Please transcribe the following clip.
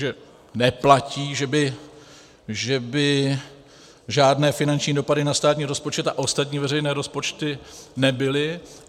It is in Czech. Takže neplatí, že by žádné finanční dopady na státní rozpočet a ostatní veřejné rozpočty nebyly.